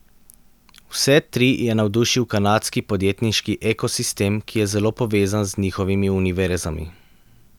Vse tri je navdušil kanadski podjetniški ekosistem, ki je zelo povezan z njihovimi univerzami.